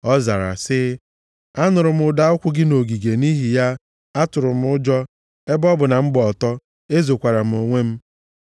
Ọ zara si, “Anụrụ m ụda ụkwụ gị nʼogige, nʼihi ya, atụrụ m ụjọ, ebe ọ bụ na m gba ọtọ. Ezokwara m onwe m.”